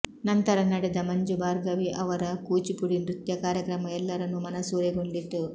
ನಂತರ ನಡೆದ ಮಂಜು ಭಾರ್ಗವಿ ಅವರ ಕೂಚಿಪುಡಿ ನೃತ್ಯ ಕಾರ್ಯಕ್ರಮ ಎಲ್ಲರನ್ನೂ ಮನಸೂರೆಗೊಂಡಿತು